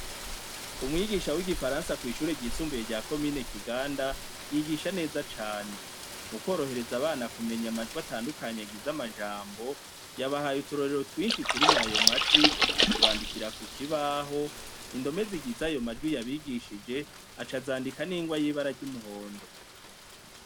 Umwigisha w'igifaransa kwishure ryisumbuye rya komine Kiganda , yigisha neza cane, mukworohereza abana kumenya amajwi atandukanye agize amajambo , yabahaye uturorero twinshi turimwo ayo majwi ,atubandikira kukibaho, indome zigize ayo majwi yabigishije aca azandika n'ingwa yibara ry'umuhondo.